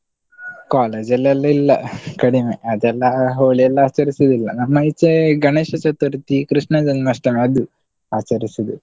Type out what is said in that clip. College ಅಲ್ಲೆಲ್ಲ ಇಲ್ಲ ಕಡಿಮೆ ಅದೆಲ್ಲ Holi ಎಲ್ಲ ಆಚಾರ್ಸೋದಿಲ್ಲ, ನಮ್ಮ ಈಚೆ ಗಣೇಶ ಚತುರ್ಥಿ ಕೃಷ್ಣ ಜನ್ಮಾಷ್ಟಮಿ ಅದು ಆಚರಿಸೋದು.